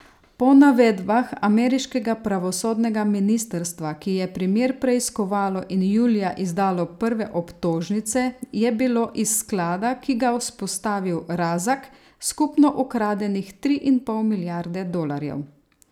Po navedbah ameriškega pravosodnega ministrstva, ki je primer preiskovalo in julija izdalo prve obtožnice, je bilo iz sklada, ki ga vzpostavil Razak, skupno ukradenih tri in pol milijarde dolarjev.